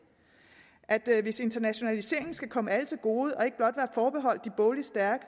at hvis internationaliseringen skal komme alle til gode og ikke blot være forbeholdt de bogligt stærke